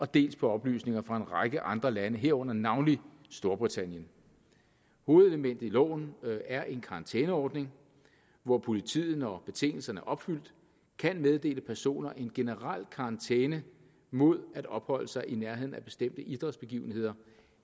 dels på oplysninger fra en række andre lande herunder navnlig storbritannien hovedelementet i loven er en karantæneordning hvor politiet når betingelserne er opfyldt kan meddele personer en generel karantæne mod at opholde sig i nærheden af bestemte idrætsbegivenheder